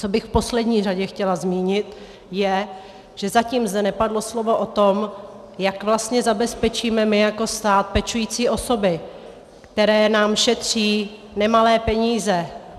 Co bych v poslední řadě chtěla zmínit, je, že zatím zde nepadlo slovo o tom, jak vlastně zabezpečíme my jako stát pečující osoby, které nám šetří nemalé peníze.